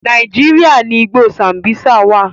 Nàíjíríà ni igbó Sambisa wà.